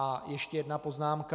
A ještě jedna poznámka.